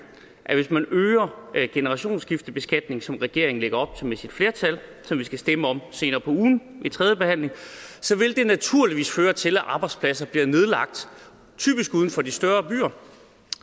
at det hvis man øger generationsskiftebeskatningen som regeringen lægger op til med sit flertal og som vi skal stemme om senere på ugen ved tredjebehandlingen så naturligvis vil føre til at arbejdspladser bliver nedlagt typisk uden for de større byer